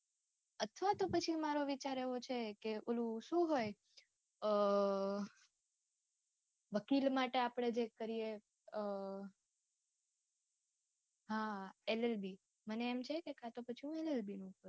અથવા તો પછી મારો વિચાર એવો છે કે ઓલું શું હોય? અમ વકીલ માટે આપડે જે કરીએ અમ હા LLB, મને એમ છે કે કાતો પછી હું LLB કરું.